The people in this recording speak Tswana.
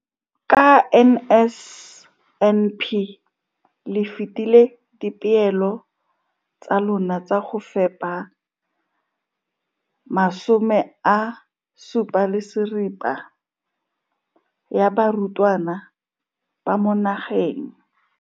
Ka NSNP le fetile dipeelo tsa lona tsa go fepa 75 percent ya barutwana ba mo nageng.